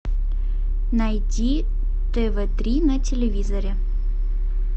найди тв три на телевизоре